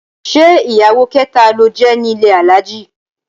Ṣé ìyàwó kẹta ló jẹ́ nílé Alhaji?